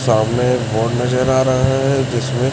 सामने एक बोर्ड नजर आ रहा है जिसमें--